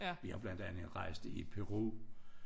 Vi har blandt andet rejst i Peru